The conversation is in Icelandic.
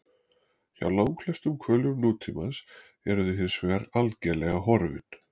Hjá langflestum hvölum nútímans eru þau hinsvegar algerlega horfin.